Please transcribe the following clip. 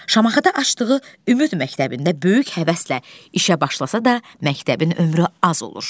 Şamaxıda açdığı Ümid məktəbində böyük həvəslə işə başlasa da, məktəbin ömrü az olur.